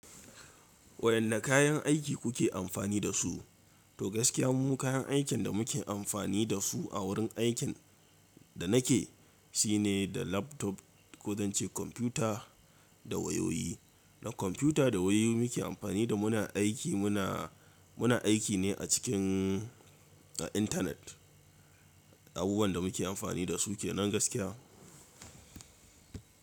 Waƴanda kayan aiki kuke amfani da su? To gaskiya mu kayan aikin da muke amfani da su a wurin aikin da nake shi ne da laptop ko zan ce kwamfuta da wayoyi. Na kwamfuta da wayoyi muke amfani da muna aiki muna, muna aiki ne a cikin, a intanet. Abubuwan da muke amfani da su ke nan gaskiya.